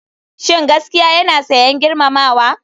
Shin gaskiya yana sayen girmamawa?